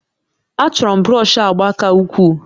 Achọrọ m brọsh agba ka ukwuu